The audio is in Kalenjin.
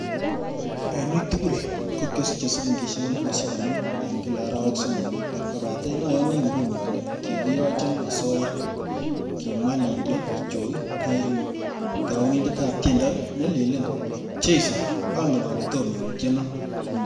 En ui tugul ko kiosiche silingisiek elfusiek konoom en kila arawek somok, kobaten oyoni inguni ale kikiyochon asoya,"Kimwa Lydia Joy Kairimu, tounindetab tiendo neleleen"Jeiso angen ale tom iutyenon",